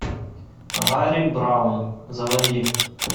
гарри браун заводи